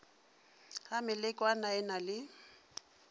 ga melekwana e na le